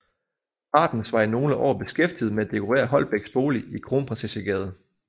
Martens var i nogle år beskæftiget med at dekorere Holbechs bolig i Kronprinsessegade